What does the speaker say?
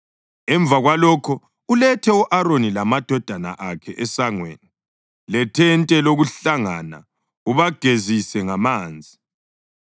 Emva kwalokho ulethe u-Aroni lamadodana akhe esangweni lethente lokuhlangana ubagezise ngamanzi.